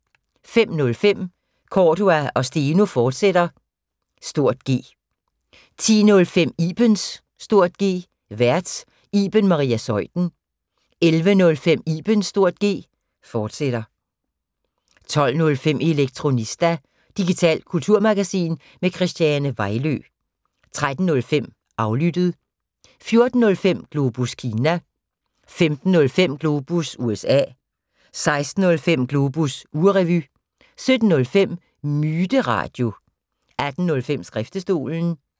05:05: Cordua & Steno, fortsat (G) 10:05: Ibens (G) Vært: Iben Maria Zeuthen 11:05: Ibens (G), fortsat 12:05: Elektronista – digitalt kulturmagasin med Christiane Vejlø 13:05: Aflyttet 14:05: Globus Kina 15:05: Globus USA 16:05: Globus ugerevy 17:05: Myteradio 18:05: Skriftestolen